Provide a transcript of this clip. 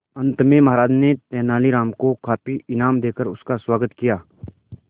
अंत में महाराज ने तेनालीराम को काफी इनाम देकर उसका स्वागत किया